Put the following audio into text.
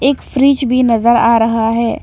एक फ्रिज भी नजर आ रहा है।